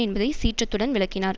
என்பதை சீற்றத்துடன் விளக்கினார்